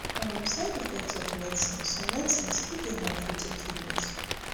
um side effect of medicines some medicines fit dey harmful to kidneys